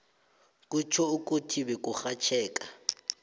kutjho ukuthi beburhatjheka